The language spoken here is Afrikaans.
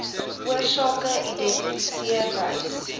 oorsake identifiseer lys